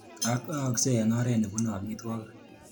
Ak aaksei eng oret ne bunee amitwakiki.